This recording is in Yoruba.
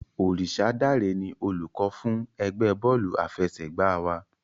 Orisadare ni olùkọ́ fún ẹgbẹ́ bọ́ọ̀lù àfẹsẹ̀gbá wa.